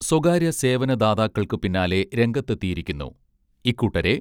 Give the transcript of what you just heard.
സ്വകാര്യ സേവന ദാതാക്കൾക്കു പിന്നാലെ രംഗത്തെത്തിയിരിക്കുന്നു ഇക്കൂട്ടരെ